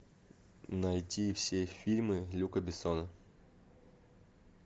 найти все фильмы люка бессона